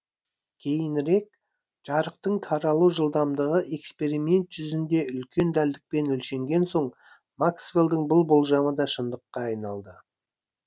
кейінірек жарықтың таралу жылдамдығы эксперимент жүзінде үлкен дәлдікпен өлшенген соң максвеллдің бұл болжамы да шындықка айналды